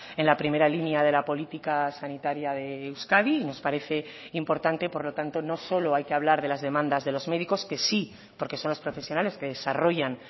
en la primera línea de la política sanitaria de euskadi y nos parece importante por lo tanto no solo hay que hablar de las demandas de los médicos que sí porque son los profesionales que desarrollan